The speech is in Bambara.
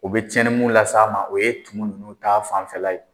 U bɛ tiɲɛni mu las'a ma o ye tumu ninnu ta fanfɛla ye.